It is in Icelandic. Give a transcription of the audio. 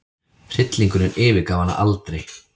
Hryllingurinn yfirgaf hana aldrei.